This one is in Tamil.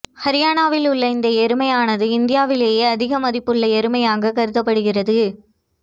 ஹரியானாவில் உள்ள இந்த எருமையானது இந்தியாவிலேயே அதிக மதிப்புள்ள எருமையாக கருதப்படுகிறது